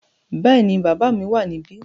Bẹ́ẹ̀ni, bàbá mi wà níbí.